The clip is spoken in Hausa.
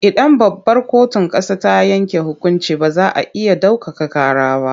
Idan babbar kotun ƙasa ta yanke hukunci ba za a iya ɗaukaka ƙara ba.